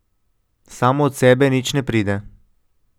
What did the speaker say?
Samo od sebe nič ne pride.